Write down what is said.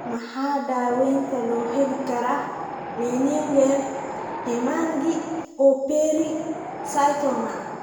Maxaa daawaynta loo heli karaa meningeal hemangiopericytoma?